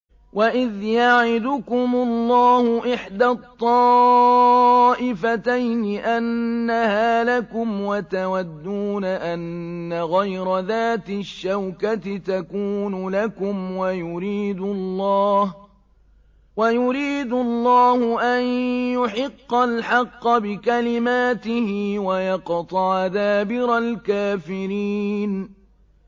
وَإِذْ يَعِدُكُمُ اللَّهُ إِحْدَى الطَّائِفَتَيْنِ أَنَّهَا لَكُمْ وَتَوَدُّونَ أَنَّ غَيْرَ ذَاتِ الشَّوْكَةِ تَكُونُ لَكُمْ وَيُرِيدُ اللَّهُ أَن يُحِقَّ الْحَقَّ بِكَلِمَاتِهِ وَيَقْطَعَ دَابِرَ الْكَافِرِينَ